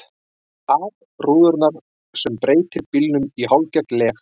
ar rúðurnar sem breytir bílnum í hálfgert leg.